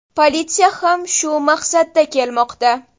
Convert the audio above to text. Politsiya ham shu maqsadda kelmoqda.